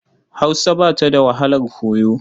Hausa ba ta da wahalar koyo.